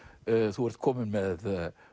þú ert kominn með